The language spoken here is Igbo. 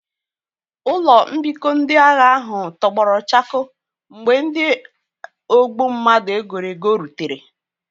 Ụlọ mbikọ ndị agha ahụ tọgbọrọ chakoo mgbe ndị ogbu mmadụ e goro ego rutere